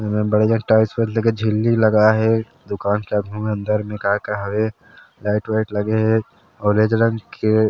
बड़े जन टाइल्स वाइल्स लगे हे झिल्ली लगा हे दुकान के आगू में अंदर में का का हवे लाइट वाइट लगे हे ऑरेंज रंग के--